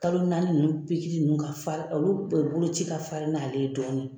Kalo naani nunnu pikiri nunnu ka farin olu boloci nunnu ka farin n'ale ye dɔɔnin.